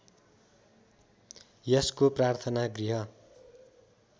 यसको प्रार्थना गृह